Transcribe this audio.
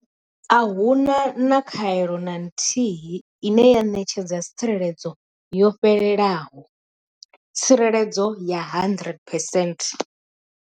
A hu na khaelo na nthihi ine ya ṋetshedza tsireledzo yo fhelelaho tsireledzo ya 100 percent.